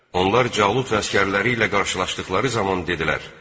Onlar Calut əsgərləri ilə qarşılaşdıqları zaman dedilər: